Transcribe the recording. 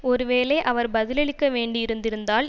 ஒருவேளை அவர் பதிலளிக்க வேண்டி இருந்திருந்தால்